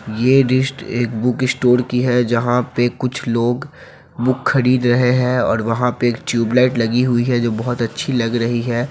ये दृष्ट एक बुक स्टोर की है जहाँ पे कुछ लोग बुक खरीद रहे हैं और वहाँ पे एक ट्यूब लाइट लगी हुई है जो बहुत अच्छी लग रही है।